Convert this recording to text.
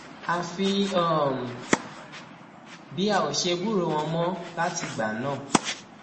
àfi um bí a ò ṣe gbúròó wọn mọ látìgbà náà